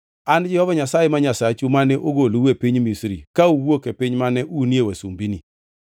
“An e Jehova Nyasaye ma Nyasachu mane ogolou e piny Misri, ka uwuok e piny mane unie wasumbini.